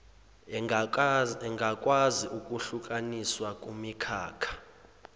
engakwazi ukuhlukaniswa kumikhakha